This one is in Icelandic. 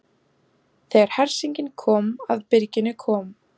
Þegar hersingin kom að byrginu kom